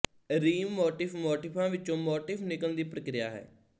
realm motif ਮੋਟਿਫ਼ਾਂ ਵਿਚੋਂ motif ਨਿਕਲਣ ਦੀ ਪਰਕਿਰਿਆ ਹੈ